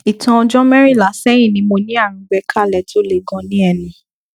ìtàn ọjọ mẹrìnlá sẹyìn ni mo ní àrùn gbẹkálẹ tó le ganan ní ẹnu